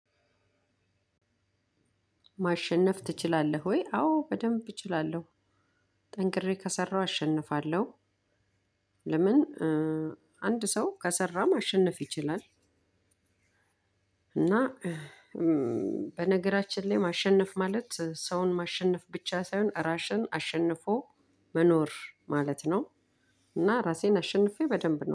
ማሸነፍ ትችላለህ ወይ? አዎ በደንብ እችላለው ጠንቅሬ ከሰራሁ አሸንፋለው። ለምን? አንድ ሰው ከሰራ ማሸነፍ ይችላል። እና በነገራችን ላይ ማሸነፍ ማለት ሰውን ማሸነፍ ብቻ ሳይሆን ራስህን አሸንፎ መኖር ማለት ነው። እና ራሴን አሸንፌ በደምብ ነው